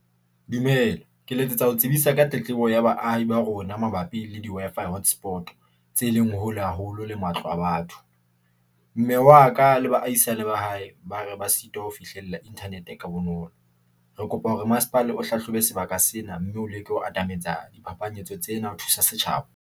Dumela, ke letsetsa ho tsebisa ka tletlebo ya baahi ba rona mabapi le di-Wi-Fi hotspot, tse leng hole haholo le matlo a batho. Mme waka le baahisane ba hae ba re ba sitwa ho fihlella internet ha bonolo. Re kopa hore masepala o hlahlobe sebaka sena mme o leke ho atametsa di phapanyetso tsena ho thusa setjhaba.